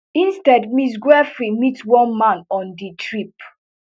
instead ms giuffre meet one man on di trip